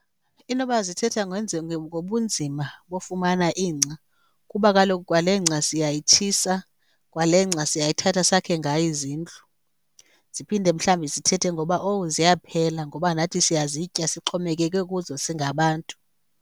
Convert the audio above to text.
Inoba zithetha ngobunzima bofumana ingca kuba kaloku kwale ngca siyayitshisa, kwale ngca siyayithatha sakhe ngayo izindlu. Ziphinde mhlawumbi zithethe ngoba, oh ziyaphela, ngoba nathi siyazitya sixhomekeke kuzo singabantu.